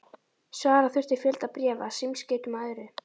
Svara þurfti fjölda bréfa, símskeytum og öðru.